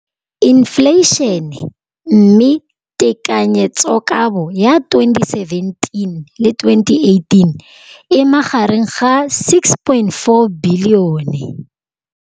Infleišene, mme tekanyetsokabo ya 2017, 18, e magareng ga R6.4 bilione.